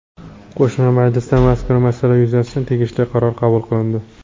Qo‘shma majlisda mazkur masala yuzasidan tegishli qaror qabul qilindi.